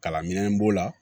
Kalan minɛnw b'o la